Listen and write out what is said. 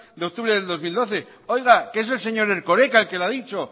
de octubre del dos mil doce oiga que es el señor erkoreka quien lo ha dicho oiga